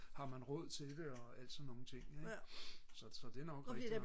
har man råd til det og alle sådan nogle ting ik så det er nok rigtigt nok